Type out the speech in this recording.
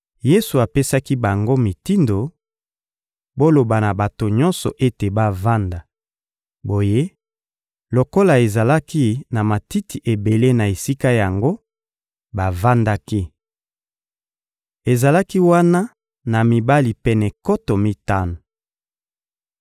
Yesu apesaki bango mitindo: — Boloba na bato nyonso ete bavanda. Boye, lokola ezalaki na matiti ebele na esika yango, bavandaki. Ezalaki wana na mibali pene nkoto mitano.